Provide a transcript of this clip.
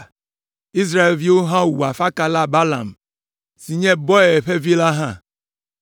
Israelviwo hã wu afakala Balaam si nye Beor ƒe vi la hã.